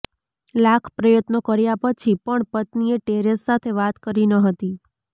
લાખ પ્રયત્નો કર્યા પછી પણ પત્નીએ ટેરેસ સાથે વાત કરી ન હતી